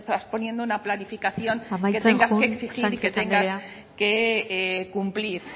estás poniendo una planificación amaitzen joan sánchez anderea que tengas que exigir y que tengas cumplir